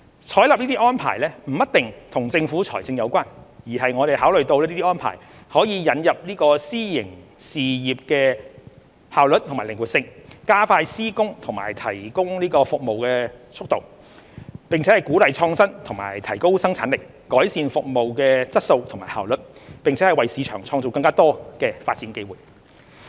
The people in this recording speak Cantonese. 採納這些安排不一定與政府財政有關，而是我們考慮到這些安排可以引入私營事業的效率和靈活性，加快施工和提供服務的速度，並鼓勵創新及提高生產力，改善服務質素和效率，並為市場創造更多發展機會。